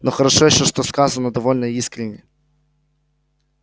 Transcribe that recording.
но хорошо ещё что сказано довольно искренне